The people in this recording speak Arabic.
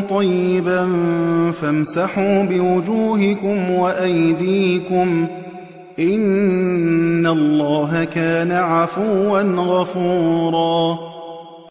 طَيِّبًا فَامْسَحُوا بِوُجُوهِكُمْ وَأَيْدِيكُمْ ۗ إِنَّ اللَّهَ كَانَ عَفُوًّا غَفُورًا